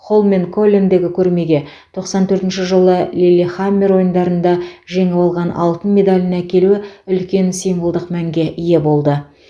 холменколлендегі көрмеге тоқсан төртінші жылы лиллехаммер ойындарында жеңіп алған алтын медалін әкелуі үлкен символдық мәнге ие болды